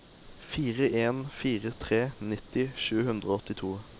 fire en fire tre nitti sju hundre og åttito